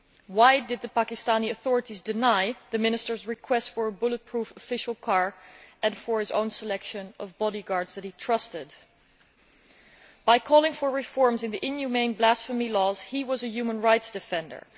Why did the Pakistani authorities deny the Minister's request for a bullet proof official car, as well as his request that he select his own bodyguards that he trusted? By calling for reforms in the inhumane blasphemy laws, he was a human rights defender.